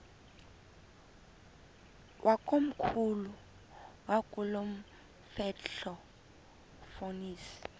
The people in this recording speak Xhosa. wakomkhulu wakulomfetlho fonis